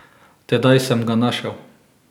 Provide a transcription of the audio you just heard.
Tedaj sem ga našel.